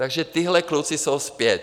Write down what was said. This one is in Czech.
Takže tihle kluci jsou zpět.